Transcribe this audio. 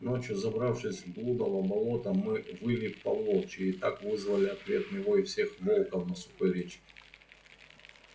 ночью забравшись в блудово болото мы выли по-волчьи и так вызвали ответный вой всех волков на сухой речке